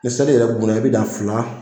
Ni seli yɛrɛ gunna i bi dan fila